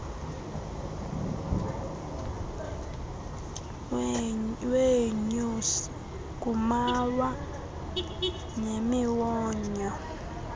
weenyosi kumawa nemiwonyo